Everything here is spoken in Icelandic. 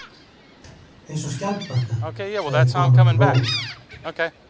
Eins og skjaldbaka, sagði konan og hló.